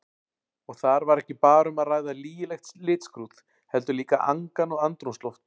Og þar var ekki bara um að ræða lygilegt litskrúð, heldur líka angan og andrúmsloft.